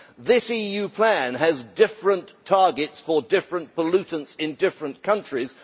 This EU plan has different targets for different pollutants in different countries.